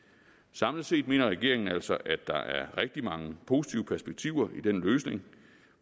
samlet set mener regeringen altså at der er rigtig mange positive perspektiver i den løsning